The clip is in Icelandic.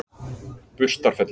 Burstarfelli